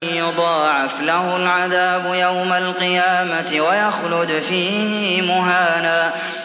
يُضَاعَفْ لَهُ الْعَذَابُ يَوْمَ الْقِيَامَةِ وَيَخْلُدْ فِيهِ مُهَانًا